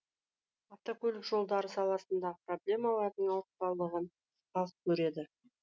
автокөлік жолдары саласындағы проблемалардың ауыртпалығын халық көреді